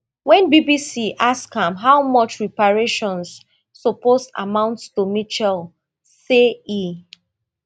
wen bbc ask am how much reparations suppose amount to mitchell say e